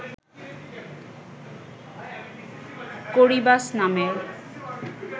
Corybas নামের